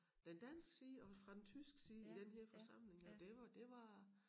Den danske side og fra den tyske side i den her forsamling og det var det var